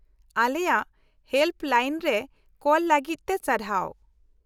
-ᱟᱞᱮᱭᱟ ᱦᱮᱞᱯ ᱞᱟᱭᱤᱱᱨᱮ ᱠᱚᱞ ᱞᱟᱹᱜᱤᱫ ᱛᱮ ᱥᱟᱨᱦᱟᱣ ᱾